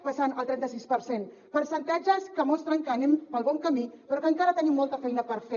passant al trenta sis per cent percentatges que mostren que anem pel bon camí però que encara tenim molta feina per fer